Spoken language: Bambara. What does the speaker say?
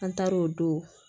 An taar'o don